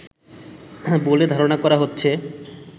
বলে ধারণা করা হচ্ছে